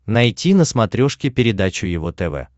найти на смотрешке передачу его тв